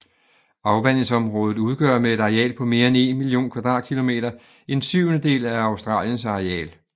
Afvandingsområdet udgør med et areal på mere end 1 million km² en syvendedel af Australiens areal